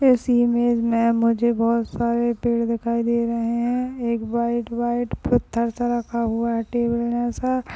इस इमेज मे मुझे बहुत सारे पेड़ दिखाई दे रहे है एक व्हाइट व्हाइट पत्थर सा रखा हुआ है टेबल जैसा --